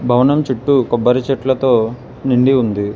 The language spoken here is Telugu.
భవనం చుట్టూ కొబ్బరి చెట్లతో నిండి ఉంది.